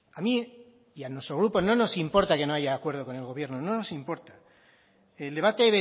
a mí y a nuestro grupo no nos importa que no haya acuerdo con el gobierno no nos importa el debate